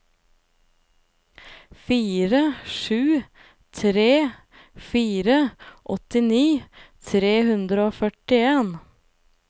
fire sju tre fire åttini tre hundre og førtien